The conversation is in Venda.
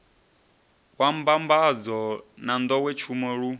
wa mbambadzo na nḓowetshumo lu